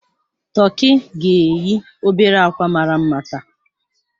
Tọki ga-eyi obere akwa mara mma taa.